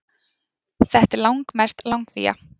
Þetta er langmest langvía